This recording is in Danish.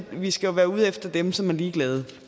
vi skal jo være ude efter dem som er ligeglade